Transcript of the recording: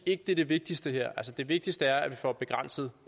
ikke det er det vigtigste her det vigtigste er at vi får begrænset